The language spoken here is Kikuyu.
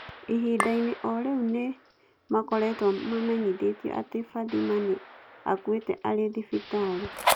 Ihinda-inĩ o rĩu nĩ nĩ makoretwo mamenyithio atĩ Fathima nĩ aakuĩte arĩ thibitarĩ.